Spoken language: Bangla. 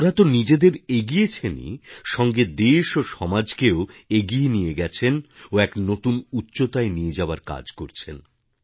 ওঁরা তো নিজেদের এগিয়েছেনই সাথে দেশ ও সমাজকেও এগিয়ে নিয়ে গেছেন ও এক নতুন উচ্চতায় নিয়ে যাওয়ার কাজ করেছেন